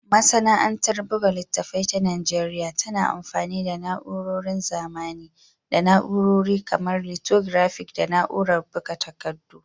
Masana'antar buga littattafai ta Najeriya tana amfani da na'urorin zamani da na'urori kamar lithographic da na'urar buga takardu.